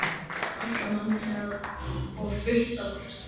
Það var ætlað manni hennar og fullt af ástríki.